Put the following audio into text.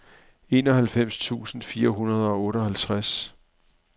enoghalvfems tusind fire hundrede og otteoghalvtreds